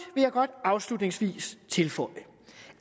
jeg godt afslutningsvis tilføje